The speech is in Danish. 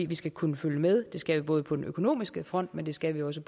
vi skal kunne følge med det skal vi både på den økonomiske front men det skal vi også